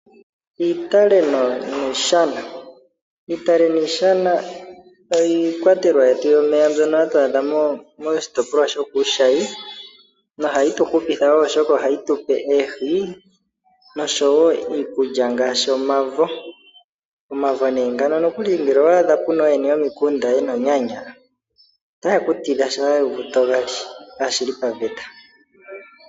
Iitale niishana, iitale niishana oyo iikwatelwa yetu yomeya mbyoka hatu adha kiitopolwa yoku shayi na ohayi tu hupitha wo oshika ohayi tupe oohi osho wo iikulya ngashi omavo. Omavo ngano nokuli ngele owaadhapo ooyene yomikunda yena oonyanya otaye ku tidha uuna wuuvu to gali kashili paveta.